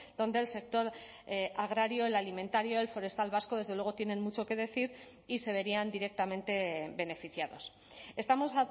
donde el sector agrario el alimentario el forestal vasco desde luego tienen mucho que decir y se verían directamente beneficiados estamos